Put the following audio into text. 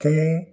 Kelen